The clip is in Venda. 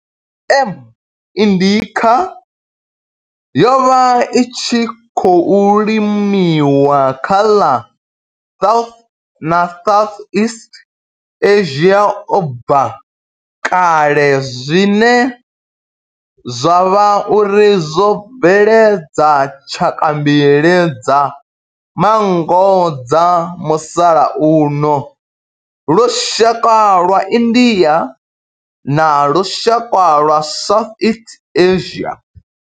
M. indica yo vha i tshi khou limiwa kha ḽa South na Southeast Asia ubva kale zwine zwa vha uri zwo bveledza tshaka mbili dza manngo dza musalauno lushaka lwa India na lushaka lwa Southeast Asia.